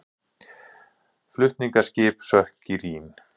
Flutningaskip sökk í Rín